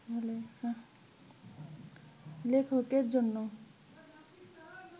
লেখকের জন্যে